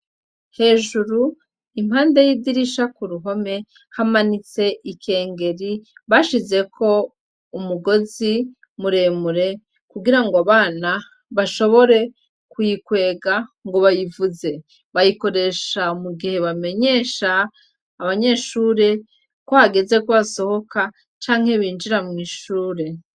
Hejuru impande y'idirisha ku ruhome hamanitse ikengeri bashizeko umugozi muremure kugira ngo abana bashobore kuyikwega ngo bayivuze, bayikoresha mu gihe bamenyesha abanyeshure ko agezeo kwasohoka canke binjira mw'ishure.